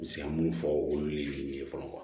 N bɛ se ka mun fɔ olu ye fɔlɔ kuwa